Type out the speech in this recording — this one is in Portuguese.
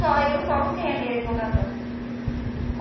Só eu tomo esse remédio.